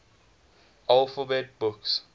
alphabet books